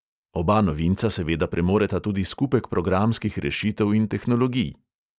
Oba novinca seveda premoreta tudi skupek programskih rešitev in tehnologij.